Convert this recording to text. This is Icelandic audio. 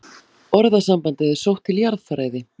Orðasambandið er sótt til jarðfræði.